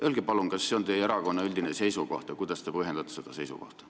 Öelge palun, kas see on teie erakonna üldine seisukoht ja kui on, siis kuidas te seda põhjendate.